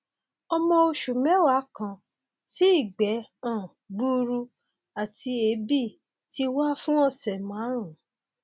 ọmọ oṣù mẹwàá kan tí ìgbẹ um gbuuru àti èébì ti wà fún ọsẹ márùnún